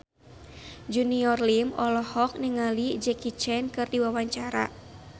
Junior Liem olohok ningali Jackie Chan keur diwawancara